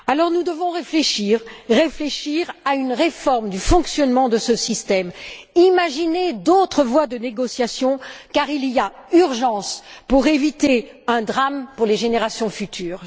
Nous devons donc réfléchir, réfléchir à une réforme du fonctionnement de ce système, imaginer d'autres voies de négociation, car il y a urgence, pour éviter un drame pour les générations futures.